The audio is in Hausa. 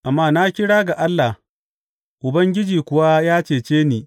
Amma na kira ga Allah, Ubangiji kuwa ya cece ni.